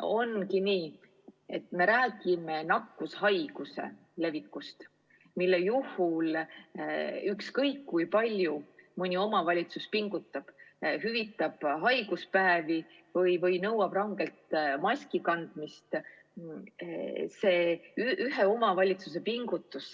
Ongi nii, et me räägime nakkushaiguse levikust ja ükskõik kui palju mõni omavalitsus ka ei pinguta, näiteks hüvitab haiguspäevi ja nõuab rangelt maski kandmist – see ühe omavalitsuse pingutus